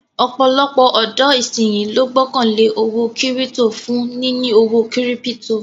Ọ̀pọ̀lọpọ̀ ọ̀dọ̀ ìsínyí ló gbọ́kàn lé owó kírítò for níní owó kírípítò